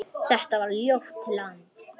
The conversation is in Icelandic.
Þetta var ljótt land.